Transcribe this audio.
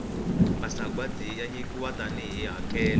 masagwati ya nyikiwa tani hi hakelo